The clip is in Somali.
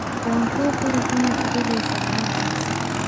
Wankuqire ina iqareyse ciyartase.